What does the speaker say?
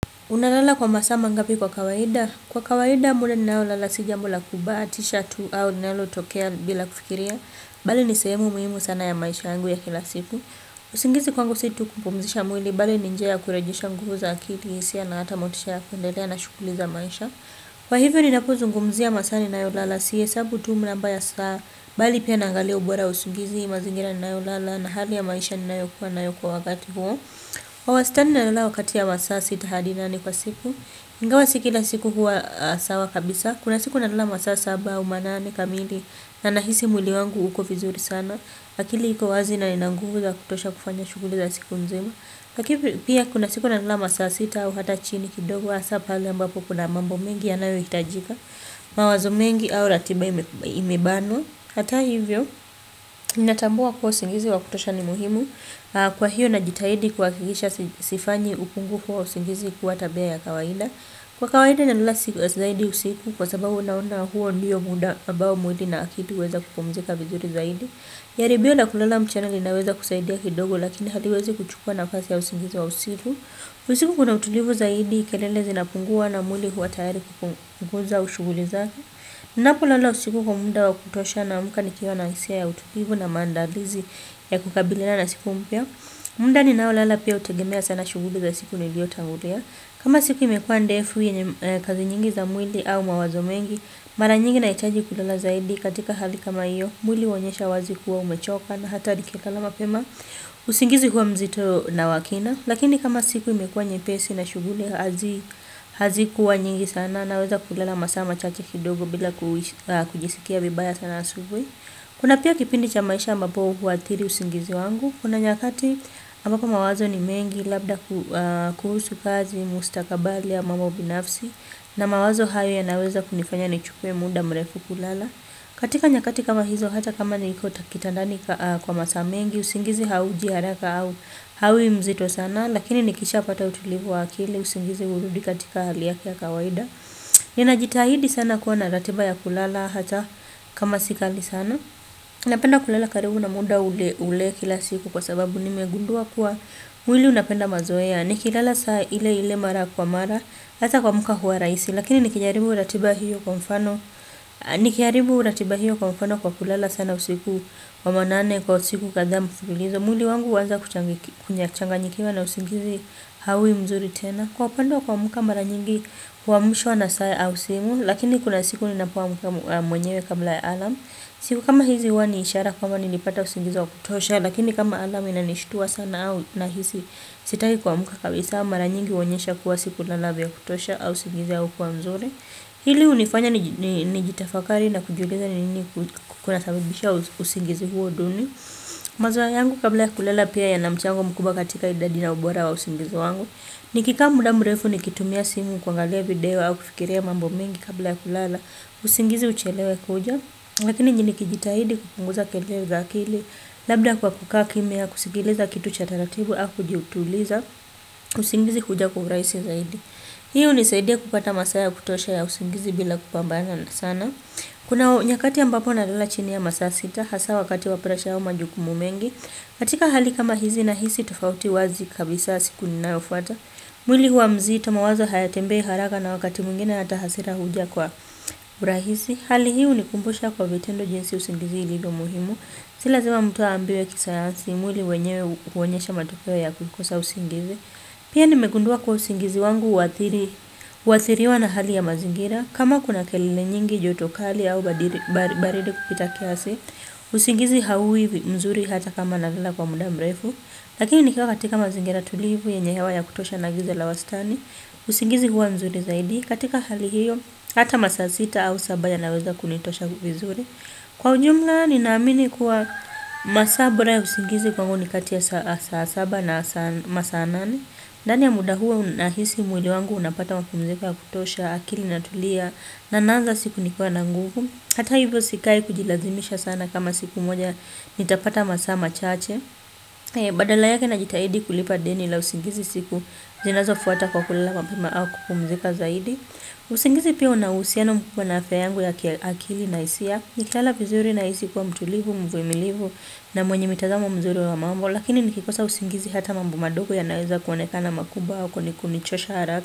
Unalala kwa masaa mangapi kwa kawaida? Kwa kawaida muda ninaolala si jambo la kubahatisha tu au linalotokea bila kufikiria, bali ni sehemu muhimu sana ya maisha yangu ya kila siku. Usingizi kwangu si tu kupumzisha mwili, bali ni njia ya kurejesha nguvu za akili, hisia na hata motisha ya kuendelea na shughuli za maisha. Kwa hivyo ninapozungumzia masaa ninayolala sihesabu tu namba ya saa, bali pia naangalia ubora wa usingizi, mazingira ninayolala na hali ya maisha ninayokuwa nayo kwa wakati huo. Kwa wastani nalala wakati ya masaa sita hadi nane kwa siku. Ingawa si kila siku huwa sawa kabisa. Kuna siku nalala masaa saba au manane kamili na nahisi mwili wangu uko vizuri sana akili iko wazi na nina nguvu za kutosha kufanya shughuli za siku nzima pia kuna siku nalala masaa sita au hata chini kidogo hasa pale ambapo kuna mambo mengi yanayo hitajika mawazo mengi au ratiba imebanwa hata hivyo ninatambua kuwa usingizi wa kutosha ni muhimu. Kwa hiyo najitahidi kuhakikisha sifanyi upungufu wa usingizi kuwa tabia ya kawaida. Kwa kawaida nalala siku zaidi usiku kwa sababu unaona huo ndiyo muda ambao mwili na akili huweza kupumzika vizuri zaidi. Jaribio la kulala mchana linaweza kusaidia kidogo lakini haliwezi kuchukuwa nafasi ya usingizi wa usiku. Kwa usiku kuna utulivu zaidi kelele zina pungua na mwli huwa tayari kukuguza shughuli zake. Ninapo lala usiku kwa muda wakutosha naamka nikiwa na hisia ya ututivu na mandalizi ya kukabilina na siku mpya muda ninao lala pia hutegemea sana shughuli za siku niliyotangulia. Kama siku imekuwa ndefu yenye kazi nyingi za mwili au mawazo mengi mara nyingi nahitaji kulala zaidi katika hali kama hiyo. Mwili huoyesha wazi kuwa umechoka na hata nikikala mapema. Usingizi kuwa mzito na wa kina. Lakini kama siku imekuwa nyepesi na shughuli hazi kuwa nyingi sana naweza kulala masaa chache kidogo bila kujisikia vibaya sana asubuhi. Kuna pia kipindi cha maisha ambapo huathiri usingizi wangu. Kuna nyakati ama kama wazo ni mengi labda kuhusu kazi mustakabali ya mambo binafsi na mawazo hayo yanaweza kunifanya nichukue muda mrefu kulala. Katika nyakati kama hizo hata kama niko kitandani kwa masaa mengi usingizi hauji haraka au hauwi mzito sana. Lakini nikisha pata utulivu wa akili usingizi hurudi katika hali yaki ya kawaida. Ninajitahidi sana kuwa na ratiba ya kulala hata kama si kali sana. Napenda kulala karibu na muda ule ule kila siku kwa sababu nimegundua kuwa mwili unapenda mazoea. Nikilala saa ile ile mara kwa mara hata kuamuka huwa rahisi. Lakini nikijaribu ratiba hiyo kwa mfano nikiharibu ratiba hiyo kwa mfano kwa kulala sana usiku wa manane kwa usiku kadhaa mfululizo mwili wangu huanza kuchanganyikiwa na usingizi hawi mzuri tena. Kwa upande wa kuamuka maranyingi huwamshwa na saa au simu. Lakini kuna siku ninapoamka mwenyewe kabla ya alarm. Siku kama hizi huwa ni ishara kuwa nilipata usingizi wa kutosha. Lakini kama alarm inanishtua sana au nahisi sitaki kuamuka kabisa. Maranyingi huonyesha kuwa siku lala ya kutosha au usingizi wa kwa mzuri. Hili hunifanya ni jitafakari na kujiuliza nini kunasabibisha usingizi huo duni. Mazoea yangu kabla ya kulala pia yana mchango mkuba katika idadi na ubora wa usingizi wangu. Nikikaa muda mrefu nikitumia simu kuangalia video au kufikiria mambo mingi kabla ya kulala. Usingizi uchelewe kuja. Lakini nikijitahidi kupunguza kelele za akili. Labda kwa kukaa kimya kusigkiliza kitu cha taratibu au kujituliza. Usingizi huja kwa urahisi zaidi. Hiyo hunisaidia kupata masaa ya kutosha ya usingizi bila kupambana na sana. Kuna nyakati ambapo nalala chini ya masaa sita hasa wakati wa presha au majukumu mengi. Katika hali kama hizi nahizi tofauti wazii kabisa siku inayofuata. Mwili huwa mzita mawazo hayatembei haraka na wakati mwingine hata hasira huja kwa urahisi. Hali hii hunikumbusha kwa vitendo jinsi usingizi ilivyo muhimu. Si lazima mtu aambiwe kisayansi mwili wenyewe huonyesha matokeo ya kukosa usingizi. Pia nimegundua kuwa usingizi wangu huathiriwa na hali ya mazingira. Kama kuna kelele nyingi joto kali au baridi kupita kiasi, usingizi haiwi mzuri hata kama nalala kwa muda mrefu. Lakini nikiwa katika mazingira tulivu yenye hewa ya kutosha na giza la wastani, usingizi kuwa mzuri zaidi. Katika hali hiyo, hata masaa sita au saba yanaweza kunitosha vizuri. Kwa ujumla ninaamini kuwa masaa bora ya usingizi kwangu ni katia saa saba na masaa nane. Ndani ya muda huo nahisi mwili wangu unapata mapumziko ya kutosha akili na tulia na naanza siku nikiwa na nguvu. Hata hivyo sikai kujilazimisha sana kama siku moja nitapata masaa machache. Badala yake najitahidi kulipa deni la usingizi siku zinazo fuata kwa kulala mapema au kupumzika zaidi. Usingizi pia huna uhusiano mkubwa na afya yangu ya kiaakili na hisia. Nikilala vizuri na isi kwa mtulivu, mvumilivu na mwenye mitazamo mzuri wa mambo. Lakini nikikosa usingizi hata mambo madogo yanaweza kuonekana makubwa au kunichosha haraka.